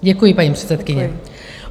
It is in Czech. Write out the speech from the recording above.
Děkuji, paní předsedkyně.